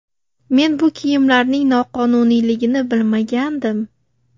Men bu kiyimlarning noqonuniyligini bilmagandim.